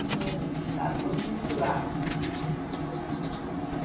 mais não. Está tudo misturado.